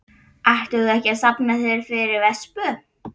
Ætlaðir þú ekki að safna þér fyrir vespu?